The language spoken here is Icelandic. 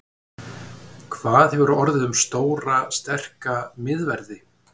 Hvað hefur orðið um stóra sterka miðverði?